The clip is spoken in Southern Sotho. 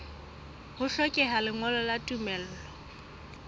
ho hlokeha lengolo la tumello